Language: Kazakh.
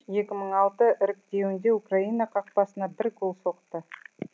екі мың алты іріктеуінде украина қақпасына бір гол соқты